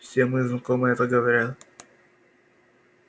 все мои знакомые это говорят